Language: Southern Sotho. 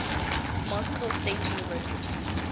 moscow state university